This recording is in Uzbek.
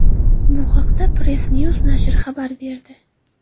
Bu haqda PressNews nashri xabar berdi .